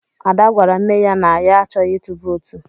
Ada gwara nne ya na ya achọghị ịtụ vootu.